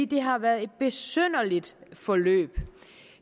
det har været et besynderligt forløb